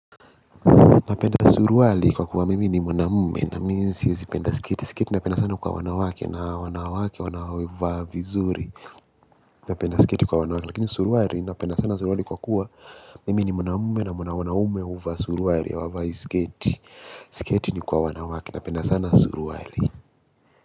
Napenda suruali kwa kuwa mimi ni mwanamume na mimi siezi penda sketi. Sketi inapendwa sana kwa wanawake na wanawake wanaovaa vizuri. Napenda sketi kwa wanawake. Lakini suruali napenda sana suruwali kwa kuwa mimi ni mwanamume na wanaume huvaa suruali hawaavai sketi. Sketi ni kwa wanawake napenda sana suruali.